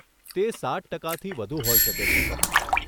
તે સાઠ ટકાથી વધુ હોઈ શકે છે સર.